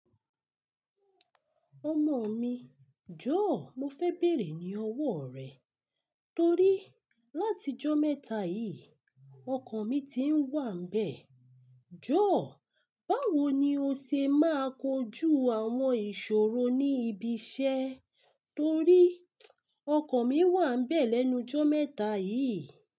Ọmọ mi, jó mo fẹ bẹ́rè ní ọwọ rẹ, torí láti ijọ́ mẹ́ta yìí ọkan mi tiń wà n bẹ. Jó, báwo ni o ṣe máa kojú àwọn ìṣòro ní ibi iṣẹ́ torí ọkan mi wà n bẹ́ẹ̀ lẹ́nu ijọ́ mẹ́ta yìí?